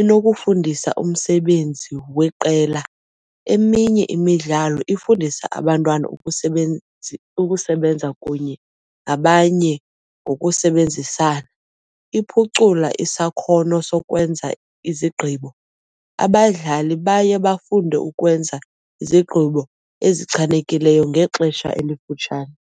Inokufundisa umsebenzi weqela, eminye imidlalo ifundisa abantwana ukusebenza kunye nabanye ngokusebenzisana. Iphucula isakhono sokwenza izigqibo, abadlali baye bafunde ukwenza izigqibo ezichanekileyo ngexesha elifutshane.